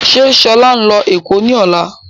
Ṣe Ṣọlá ńlọ Èkó ni ọ̀la?